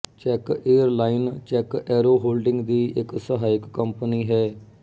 check airline check Aeroholding ਦੀ ਇੱਕ ਸਹਾਇਕ company ਹੈ